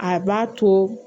A b'a to